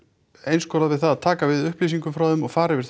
einskorðað við það að taka við upplýsingum frá þeim og fara yfir